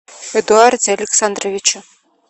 эдуарде александровиче